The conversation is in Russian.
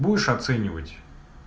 будешь оценивать